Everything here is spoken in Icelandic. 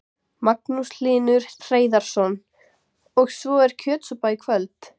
Magnús Hlynur Hreiðarsson: Og svo er kjötsúpa í kvöld?